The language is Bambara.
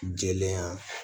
Jɛlenya